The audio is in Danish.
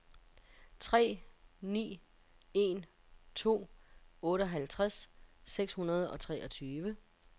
tre ni en to otteoghalvtreds seks hundrede og treogtyve